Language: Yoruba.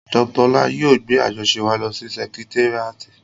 Dr Ọlá ni yóò gbé àjọṣe wa lọ sí sẹkitéríàtì